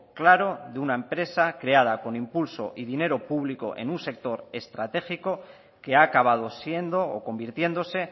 claro de una empresa creada con impulso y dinero público en un sector estratégico que ha acabado siendo o convirtiéndose